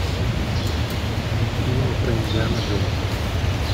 фильмы про индиана джонса